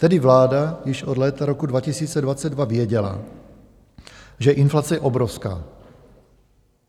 Tedy vláda již od léta roku 2022 věděla, že inflace je obrovská.